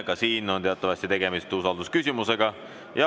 Ka siin on teatavasti tegemist usaldusküsimusega.